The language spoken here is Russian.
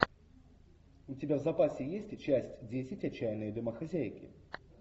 у тебя в запасе есть часть десять отчаянные домохозяйки